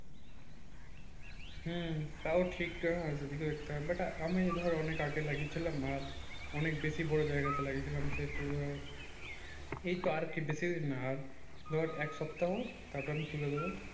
হুম তাও ঠিক আমি ধর অনেক আগে লাগিয়েছিলাম আর অনেক বেশি বড় জায়গাতে লাগিয়েছিলাম সে তু আর এইতো আর কি বেশি দিন না আর ধর এক সপ্তাহ তারপর আমি তুলে দেবো